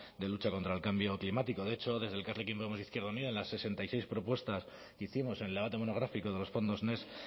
de lucha contra el cambio climático de hecho desde elkarrekin podemos izquierda unida en la sesenta y seis propuestas que hicimos en el debate monográfico de los fondos next